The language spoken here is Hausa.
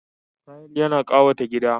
Tayil na kawata gida.